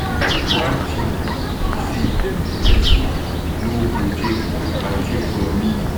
One thing be say person no go take my thing from me.